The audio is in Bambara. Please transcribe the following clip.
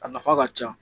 A nafa ka ca